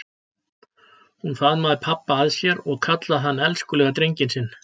Hún faðmaði pabba að sér og kallaði hann elskulega drenginn sinn.